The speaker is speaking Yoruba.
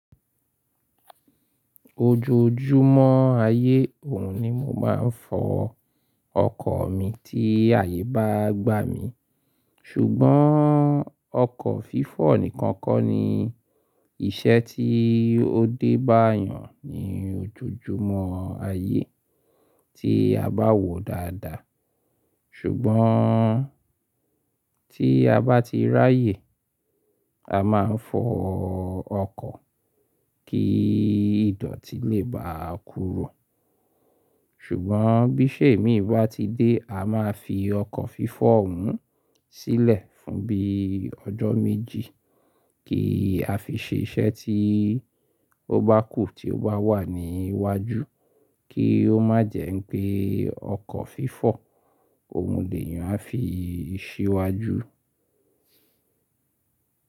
Ojoojúmọ́ ayé òhun ni mo máa ń fọ ọkọ̀ mi tí ayé bá gbá mi. Ṣùgbọ́n ọkọ̀ fífọ̀ nìkan kọ́ ni iṣẹ́ tí ó débá eyàn ní ojoojúmọ́ ayé tí a bá wòó dáadáa. Ṣùgbọ́n tí a bá ti ráyè a máa ń fọ ọkọ̀ kí ìdọ̀tí lè bá a kúrò. Ṣùgbọ́n bí iṣè émí bá ti dé a máa fi ọkọ̀ fífọ̀ òhun sílẹ̀ fún bí i ọjọ́ méjì kí a fi ṣe iṣẹ́ tí ó bá kù tí ó bá wà ní iwájú kí ó má jẹ́ wipé ọkọ̀ fífọ́ ohun lè eyàn a fi ṣíwájú.